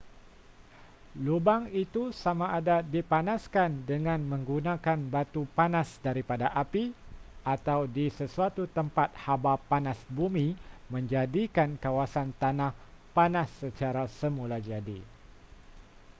lubang itu samada dipanaskan dengan menggunakan batu panas daripada api atau di sesuatu tempat haba panas bumi menjadikan kawasan tanah panas secara semulajadi